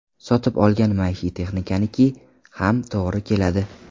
Sotib olgan maishiy texnikaniki ham to‘g‘ri keladi.